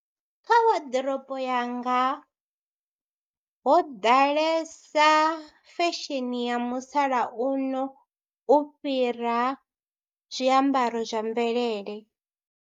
Kha waḓiroponi yanga ho ḓalesa fesheni ya musalauno u fhira zwiambaro zwa mvelele.